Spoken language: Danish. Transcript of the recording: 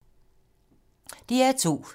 DR2